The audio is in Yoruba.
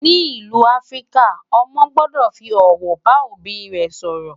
ní ìlú áfríkà, ọmọ gbódò fí òwò bá òbí sòrò